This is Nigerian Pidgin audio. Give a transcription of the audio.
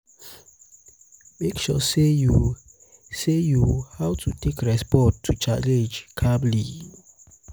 mek sure sey yu sey yu how to take respond to challenge calmly.